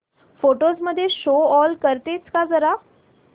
photos मध्ये show all करतेस का जरा